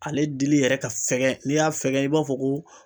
Ale dili yɛrɛ ka fɛgɛn n'i y'a fɛgɛ i b'a fɔ ko